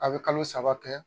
A' bɛ kalo saba tɛ